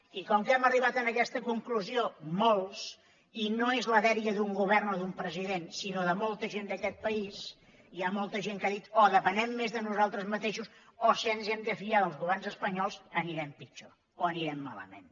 i com que hem arribat a aquesta conclusió molts i no és la dèria d’un govern o d’un president sinó de molta gent d’aquest país hi ha molta gent que ha dit o depenem més de nosaltres mateixos o si ens hem de fiar dels governs espanyols anirem pitjor o anirem malament